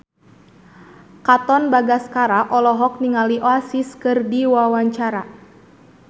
Katon Bagaskara olohok ningali Oasis keur diwawancara